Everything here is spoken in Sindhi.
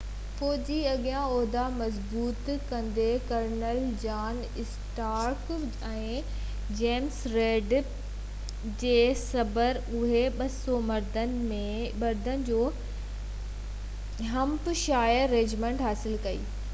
فوجي اڳيان عهدا مضبوط ڪندي، colonel John Stark ۽ James Reid پوءِ ٻئي جنرل ٿيا هئا جي سربراهي ۾ 200 مردن جو 1 ۽ 3 نئي همپ شائر رجمنٽ شامل ڪئي،